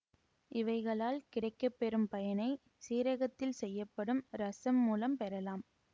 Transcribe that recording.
இவைகளால் கிடைக்கப்பெறும் பயனை சீரகத்தில் செய்யப்படும் இரசம் மூலம் பெறலாம்